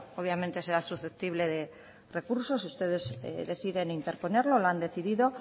obviamente será susceptible de recurso si ustedes deciden interponerlo lo han decidido